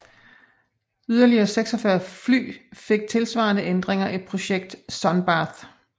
Yderligere 46 fly fik tilsvarende ændringer i projekt Sun Bath